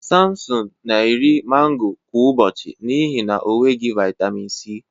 Sampson na-eri mango kwa ụbọchị n'ihi na o nweghị vitamin C.